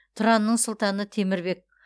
тұранның сұлтаны темір бек